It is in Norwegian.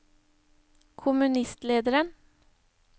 kommunistlederen